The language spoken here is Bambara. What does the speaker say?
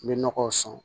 N bɛ nɔgɔw san